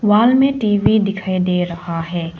वाल में टी_वी दिखाई दे रहा है।